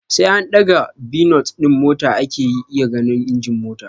Sai an ɗaga bonit din mota ake iya ganin injin mota